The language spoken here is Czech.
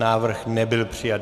Návrh nebyl přijat.